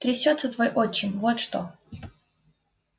трясётся твой отчим вот что